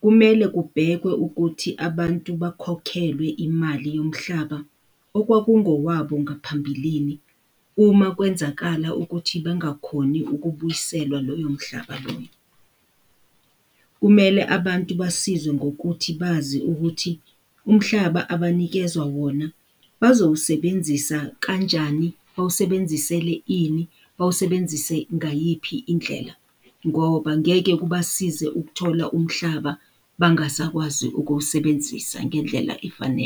Kumele kubhekwe ukuthi abantu bakhokhelwe imali yomhlaba okwakungowabo ngaphambilini uma kwenzakala ukuthi bengakhoni ukubuyiselwa loyo mhlaba loyo. Kumelwe abantu basizwe ngokuthi bazi ukuthi umhlaba abanikezwa wona bazowusebenzisa kanjani, bawusebenzisele ini, bawusebenzise ngayiphi indlela ngoba ngeke kubasize ukuthola umhlaba bangasakwazi ukuwusebenzisa ngendlela efanele.